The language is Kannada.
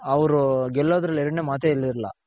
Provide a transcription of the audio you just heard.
ಅವ್ರು ಗೆಲ್ಲೋದ್ರಲ್ಲಿ ಎರಡನೆ ಮಾತೆ ಇರ್ಲಿಲ್ಲ.